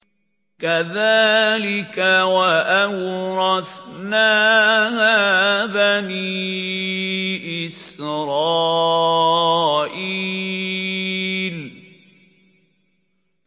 كَذَٰلِكَ وَأَوْرَثْنَاهَا بَنِي إِسْرَائِيلَ